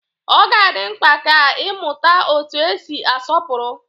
Ọ ga-adị mkpa ka ị mụta otú e si asọpụrụ